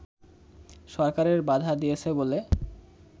সরকারের বাধা দিয়েছে বলে